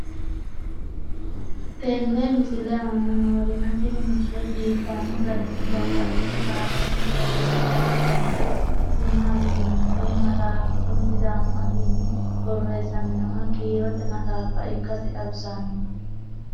tenne misile aana noorina tini misile biiffanno garinni babaxxinno daniinni xawisse leelishanori isi maati yinummoro maxxaffu kunni sidaamu affinni borreessamminnoha kiirotte maxxaffa ikkassi xawissanno